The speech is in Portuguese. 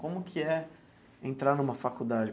Como que é entrar numa faculdade?